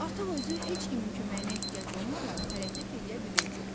Artıq özü heç kimin köməyinə ehtiyacı olmadan hərəkət eləyə bilirdi.